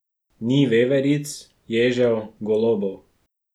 Ni veveric, ježev, golobov ...